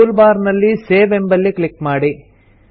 tool bar ನಲ್ಲಿ save ಎಂಬಲ್ಲಿ click ಮಾಡಿ